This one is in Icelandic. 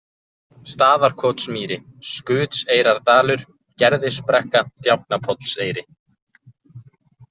Staðarkotsmýri, Skutseyrardalur, Gerðisbrekka, Djáknapollseyri